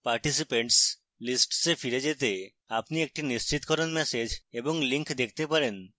participants lists a ফিরে যেতে আপনি একটি নিশ্চিতকরণ ম্যাসেজ এবং link দেখতে পাবেন